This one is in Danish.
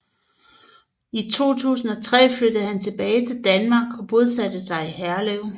I 2003 flyttede han tilbage til Danmark og bosatte sig i Herlev